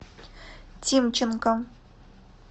тимченко